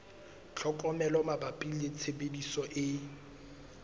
tlhokomelo mabapi le tshebediso e